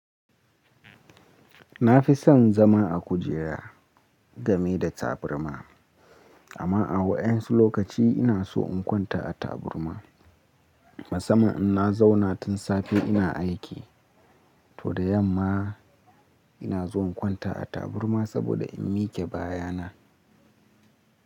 Na fi son zama a kujera game da taburma, amma a waƴansu lokaci ina so in kwanta a taburma. Musamman in na zauna tun safe ina aiki, to da yamma ina zuwa in kwanta a taburma saboda in mike baya na.